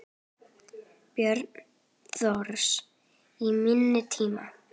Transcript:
Björn Thors: Í fimm tíma?